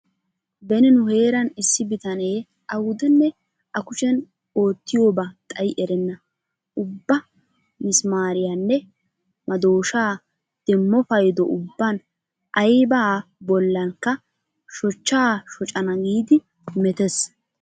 Beni nu heeran issi bitanee awudenne a kusheeni oottiyoba xayi erenna. Ubba misimaariyanne madooshaa demmo paydo ubban aybaa bollankka shochcha shocana giidi metees.